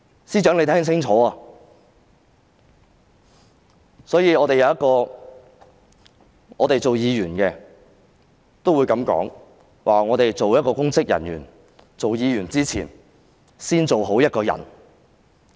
身為議員的我們也會這樣說：作為公職人員，當議員的人必須先做好一個人。